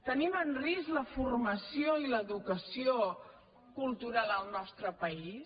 tenim en risc la forma·ció i l’educació cultural al nostre país